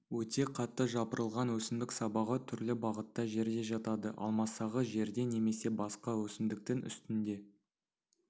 өте қатты жапырылған өсімдік сабағы түрлі бағытта жерде жатады ал масағы жерде немесе басқа өсімдіктің үстінде